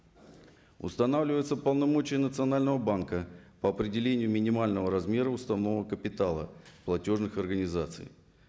устанавливаются полномочия национального банка по определению минимального размера установок капитала платежных организаций